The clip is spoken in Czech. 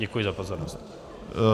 Děkuji za pozornost.